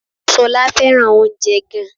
Ṣọlá fẹ́ràn oúnjẹ gan